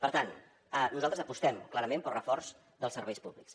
per tant nosaltres apostem clarament pel reforç dels serveis públics